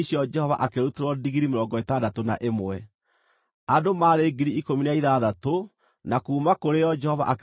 Nuthu ĩrĩa yarĩ ya andũ a Isiraeli, ĩrĩa Musa aamũranĩtie na arĩa maathiĩte mbaara-inĩ,